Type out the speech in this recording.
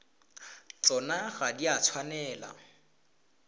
tsona ga di a tshwanela